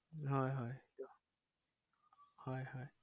হয় হয় হয় হয়